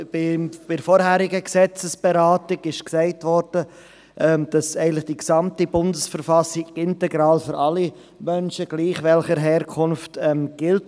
Bei der vorherigen Gesetzesberatung wurde gesagt, dass eigentlich die gesamte BV integral für alle Menschen, egal welcher Herkunft, gilt.